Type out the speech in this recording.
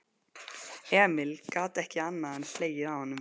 Emil gat ekki annað en hlegið að honum.